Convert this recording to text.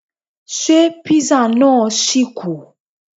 Ṣé Písà náà ṣì kù?